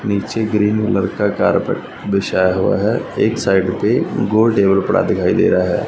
नीचे green colour का carpet बिछाया हुआ है एक साइड पे गोल टेबल पड़ा दिखाई दे रहा है।